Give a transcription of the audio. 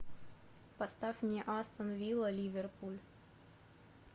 поставь мне астон вилла ливерпуль